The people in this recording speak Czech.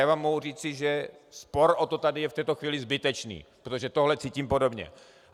Já vám mohu říci, že spor o to je tady v této chvíli zbytečný, protože tohle cítím podobně.